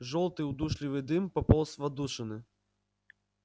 жёлтый удушливый дым пополз в отдушины